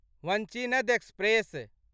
Vanchinad express